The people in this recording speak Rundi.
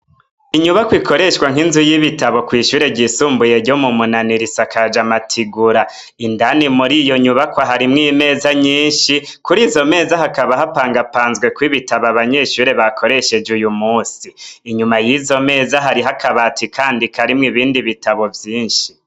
Inyubako ikoreshwa nk'inzu y'ibitabo kwishure ryisumbuye ryo mu munani risakaje amategura indani muri iyo nyubako harimwo imeza nyinshi kuri izo meza hakaba hapangapanzweko ibitabo abanyeshure bakoresheje uyu munsi inyuma y'izo meza hariho akabati kandi karimwe ibindi bitabo vyinshi.